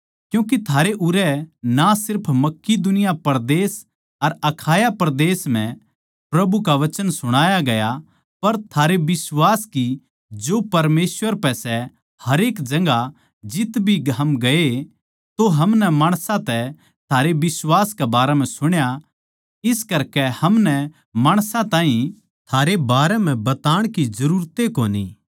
क्यूँके थारै उरै तै ना सिर्फ मकिदुनिया परदेस अर अखाया परदेस म्ह प्रभु का वचन सुणाया गया पर थारै बिश्वास की जो परमेसवर पै सै हरेक जगहां जित्त भी हम गये तो हमनै माणसां तै थारे बिश्वास के बारें म्ह सुण्या इस करके हमनै माणसां ताहीं थारे बारें म्ह बताण की जरूरत ए कोनी